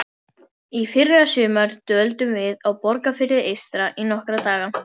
Í fyrrasumar dvöldum við á Borgarfirði eystra í nokkra daga.